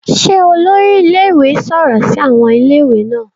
Ṣe olori ilé-ìwé sọrọ si awọn Ilé-ìwé naa